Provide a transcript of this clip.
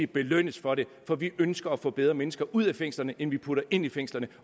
belønnes for det for vi ønsker at få bedre mennesker ud af fængslerne end vi putter ind i fængslerne